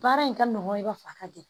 Baara in ka nɔgɔn i b'a fɔ a ka di